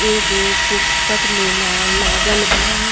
एगो पुस्तक में लाल लागल बा।